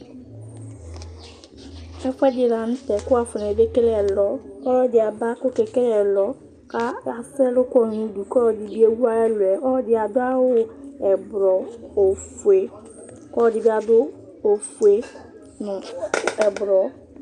ɛfoɛdi lantɛ kò woafɔne bekele ɛlɔ ɔloɛdi aba k'ɔke kele ɛlɔ k'asɛ ɛlu kɔ n'udu k'ɔloɛdi bi ewu ayi ɛluɛ ɔloɛdi ado awu ublɔ ofue kò ɔloɛdi bi ado ofue no ublɔ